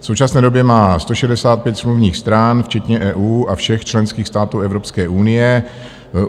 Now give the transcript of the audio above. V současné době má 165 smluvních stran včetně EU a všech členských států Evropské unie.